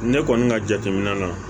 Ne kɔni ka jateminɛ na